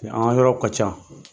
An ka yɔrɔ ka ca